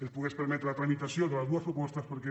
ens pogués permetre la tramitació de les dues propostes perquè